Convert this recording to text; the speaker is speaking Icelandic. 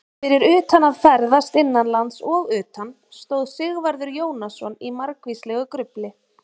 Fyrir utan að ferðast innanlands og utan stóð Sigvarður Jónasson í margvíslegu grufli.